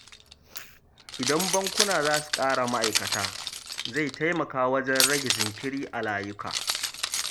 Idan bankuna za su ƙara ma’aikata, zai taimaka wajen rage jinkiri a layuka.